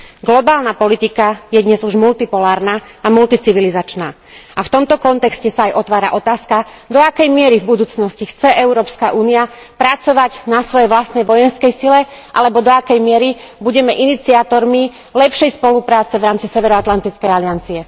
Globálna politika je dnes už multipolárna a multicivilizačná a v tomto kontexte sa aj otvára otázka, do akej miery v budúcnosti chce Európska únia pracovať na svojej vlastnej vojenskej sile alebo do akej miery budeme iniciátormi lepšej spolupráce v rámci Severoatlantickej aliancie.